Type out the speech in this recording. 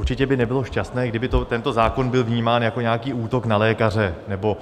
Určitě by nebylo šťastné, kdyby tento zákon byl vnímán jako nějaký útok na lékaře nebo